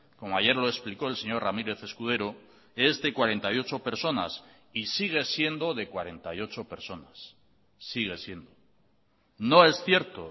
como ayer lo explicó el señor ramírez escudero es de cuarenta y ocho personas y sigue siendo de cuarenta y ocho personas sigue siendo no es cierto